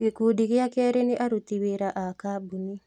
Gĩkundĩ gĩa keri nĩ aruti wĩra a kambuni